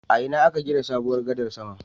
A ina aka gina sabuwar gadar sama?